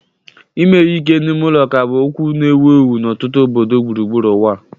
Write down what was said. Ime ihe ike n'ime ụlọ ka bụ okwu na-ewu ewu n'ọtụtụ obodo gburugburu ụwa.